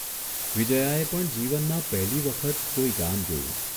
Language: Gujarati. વિજ્યાએ પણ જીવનમાં પહેલી વખત કોઇ ગામ જોયું.